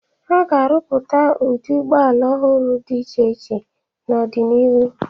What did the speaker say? A ga-arụpụta ụdị ụgbọala ọhụrụ dị iche iche n'ọdịnihu.